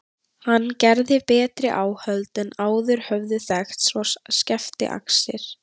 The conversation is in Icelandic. Hann gerði betri áhöld en áður höfðu þekkst og skefti axir.